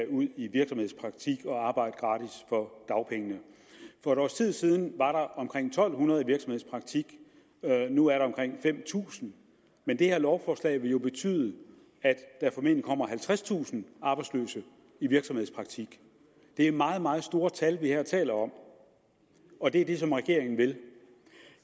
ud i virksomhedspraktik og arbejde gratis for dagpengene for et års tid siden var der omkring en tusind to hundrede i virksomhedspraktik nu er der omkring fem tusind men det her lovforslag vil jo betyde at der formentlig kommer halvtredstusind arbejdsløse i virksomhedspraktik det er meget meget store tal vi her taler om og det er det som regeringen vil